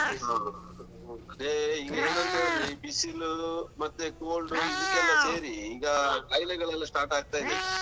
ಹಾ. ಅದೇ ಈಗ ಏನ್ ಅಂತ ಹೇಳಿದ್ರೆ ಬಿಸಿಲು ಮತ್ತೆ cold ಡು ಇದಕ್ಕೆಲ್ಲ ಸೇರಿ ಈಗ ಕಾಯಿಲೆಗಲ್ಲೆಲ್ಲ start ಆಗ್ತಾ ಇದೆ ಈಗ.